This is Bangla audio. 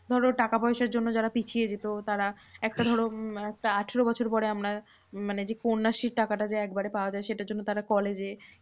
ধরো টাকাপয়সার জন্য যারা পিছিয়ে যেত। তো তারা একটা ধরো আঠেরো বছর পরে আমরা মানে যে, কন্যাশ্রীর টাকাটা যে একবারে পাওয়া যায়, সেটার জন্য তারা college এ